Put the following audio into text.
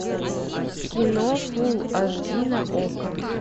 кино фулл аш ди на окко